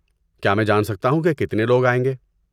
کیا میں جان سکتا ہوں کہ کتنے لوگ آئیں گے؟